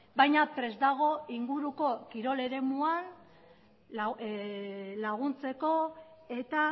baina prest dago inguruko kirol eremuan laguntzeko eta